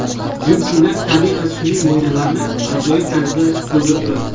Jinsilar tabiiy va sun’iy mo‘ynalarni ajoyib tarzda to‘ldirib turadi.